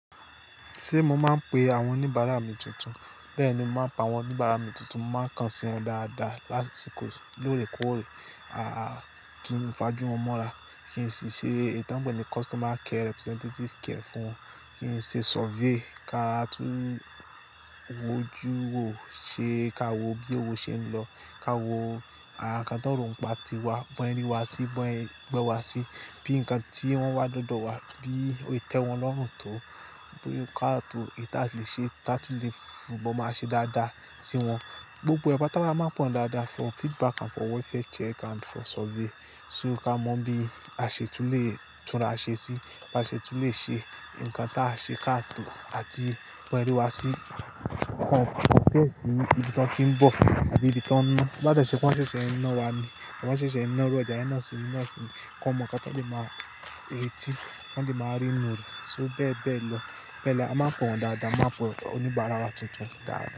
Ṣé mo máa ń pe àwọn oníbàárà mi tuntun. Bẹ́ẹ̀ni, mo máa ń pe àwọn oníbàárà mi tuntun, máa ń kàn sí wọn dáadáa lásìkò lóòrèkóòrè. A kí n fajú wọn mọ́ra, kí n sì ṣe ì tọ́n pẹ̀ ni customer care representative kẹ̀ fún wọn, kí n ṣe survey kí a tó wójú ò ṣe, kí a wò bí owó ṣe ń lọ, ka wò àwọn nǹkan tó ro n pá tiwa, bọ́n yẹ ri wa sí, bọ́n ye gbe wa sí, bí nǹkan tí wọ́n wá dọ́dọ̀ wá, bí o se te wọn lọ́rùn tó, bí ká tó ìta si lè ṣe, ta tun lè fún bọ́ máa ṣe dáadáa sí wọn. Gbogbo ẹ́, pàtà la máa ń pọ̀n dáadáa fún feedback and for welfare check and for survey. Só ká mọ bí a ṣe tú lé, túra a ṣe sí, bá ṣe tú lé ṣe, ǹkan tí a ṣe kí a tó àti bọ́ n sẹ ri wa sí. Béesì ibi tọ́n ti ń bọ̀ abí ibi tọ́n ń ná. Láti se wọ́n ṣẹ̀ṣẹ̀ ń ná wa ni, wọ́n ṣẹ̀ṣẹ̀ ń ná ìru ọjà yẹ̀n ná sí mi ná sí mi kọ́n mọ̀ nǹkan tọ́n lè máa retí, kọ́n lè máa rí inú rẹ̀. Só bẹ́ẹ̀ bẹ́ẹ̀ lọ. Bẹ́ẹ̀ la, a máa ń pe won dáadáa, a máa ń pe oníbàárà wa tuntun dáadáa.